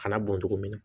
Kana bɔn togo min na